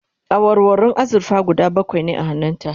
awarwarun azurfa guda bakwai ne a hannun ta